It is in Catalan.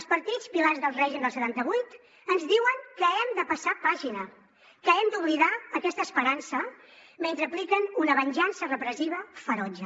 els partits pilars del règim del setanta vuit ens diuen que hem de passar pàgina que hem d’oblidar aquesta esperança mentre apliquen una venjança repressiva ferotge